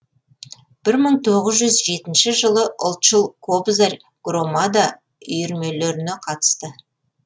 бір мың тоғыз жүз жетінші жылы ұлтшыл кобзарь громада үйірмелеріне қатысты